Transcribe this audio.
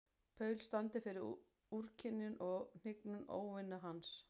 Paul standi fyrir úrkynjun og hnignun óvina hans.